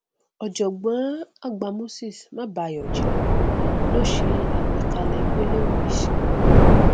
ọjọgbọn àgbà cs] moses mabayọjẹ ló ṣe àgbékalẹ gbólóhùn yìí sí